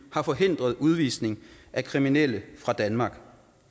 har forhindret udvisning af kriminelle fra danmark